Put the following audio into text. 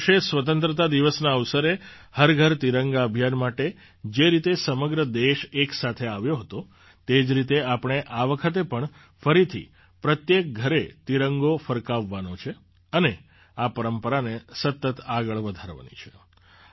ગત વર્ષે સ્વતંત્રતા દિવસના અવસરે હર ઘર તિરંગા અભિયાન માટે જે રીતે સમગ્ર દેશ એક સાથે આવ્યો હોવ તે જ રીતે આપણે આ વખતે પણ ફરીથી પ્રત્યેક ઘરે તિરંગો ફરકાવવાનો છે અને આ પરંપરાને સતત આગળ વધારવાની છે